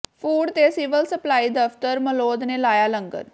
food ਤੇ civil supply ਦਫ਼ਤਰ ਮਲੌਦ ਨੇ ਲਾਇਆ ਲੰਗਰ